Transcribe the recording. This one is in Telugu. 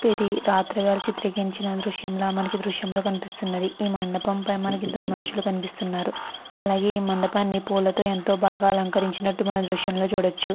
ఇది రాత్రివేళ చిత్రీకరించిన దృశ్యంల మనకి ఈ దృశ్యం లో కనిపిస్తున్నది. ఈ మండపం పై మనకి ఇద్దరు మనుషులు కనిపిస్తున్నారు. అలాగే ఈ మండపాన్ని పూల తో ఎంతో బాగా అలంకరించినట్టు మనం ఈ దృశ్యం లో చూడొచ్చు.